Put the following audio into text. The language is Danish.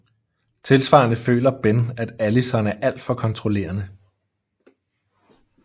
Tilsvarende føler Ben at Allison er alt for kontrollerende